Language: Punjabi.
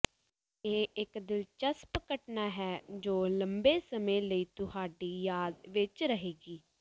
ਇਹ ਇੱਕ ਦਿਲਚਸਪ ਘਟਨਾ ਹੈ ਜੋ ਲੰਬੇ ਸਮੇਂ ਲਈ ਤੁਹਾਡੀ ਯਾਦ ਵਿੱਚ ਰਹੇਗੀ